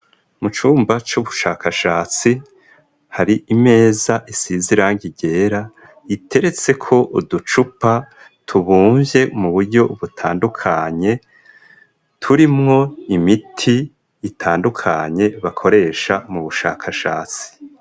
Mu cumba c'ubushakashatsi, hari imeza isize irangi ryera iteretseko uducupa tubumvye mu buryo butandukanye, turimwo imiti itandukanye bakoresha mu bushakashatsi.